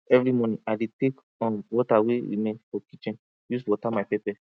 evri morning i dey take um water wey remain from kitchen use water my pepper